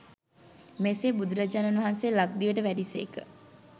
මෙසේ බුදුරජාණන් වහන්සේ ලක්දිවට වැඩි සේක.